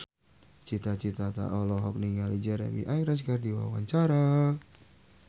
Cita Citata olohok ningali Jeremy Irons keur diwawancara